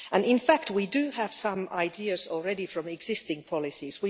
In fact we do have some ideas already from existing policies.